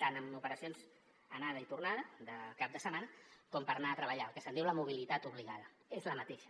tant en operacions anada i tornada de cap de setmana com per anar a treballar el que se’n diu la mobilitat obligada és la mateixa